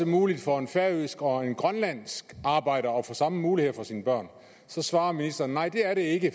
muligt for en færøsk og grønlandsk arbejder at få de samme muligheder for sine børn så svarer ministeren nej det er det ikke